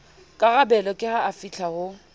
karabelo ke ha afihla ho